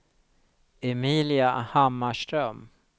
Emilia Hammarström